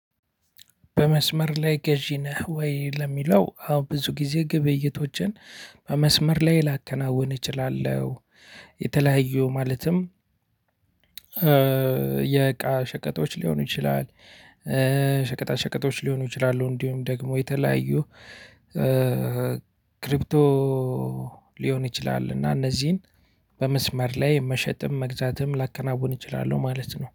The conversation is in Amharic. በመስመር ላይ ገዢ ነህ ወይ? ለሚለው አዎ ብዙ ጊዜ ግብይቶችን በመስመር ላይ ላከናውን እችላለሁ። የተለያዩ ማለትም የቃ ሸቀጦች ሊሆኑ ይችላል ሸቀጣ ሸቀጦች ሊሆኑ ይችላሉ። እንዲሁም ደግሞ የተለያዩ ክሪፕቶ ሊሆን ይችላል። እና እነዚህን በመስመር ላይ መሸጥም መግዛትም ላከናውን እችላለሁ ማለት ነው